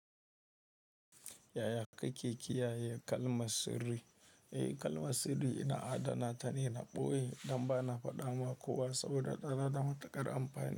Yaya kake kiyaye kalmar sirri. Eh kalmar sirri ina adana tane, na ɓoye dan bana faɗama kowa saboda tana da matuƙar amfani.